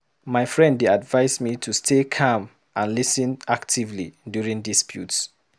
My friend dey advise me to stay calm and lis ten actively during disputes.